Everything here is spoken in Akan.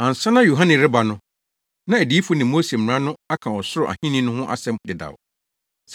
Ansa na Yohane rebɛba no, na adiyifo ne Mose mmara no aka ɔsoro ahenni no ho asɛm dedaw.